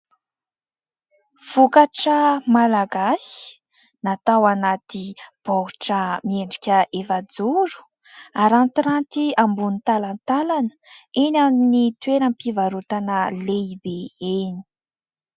Vokatra Malagasy natao anaty baoritra miendrika efajoro arantiranty ambonin'ny talantalana eny amin'ny toeram-pivarotana lehibe eny.